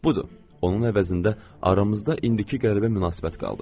Budur, onun əvəzində aramızda indiki qəribə münasibət qaldı.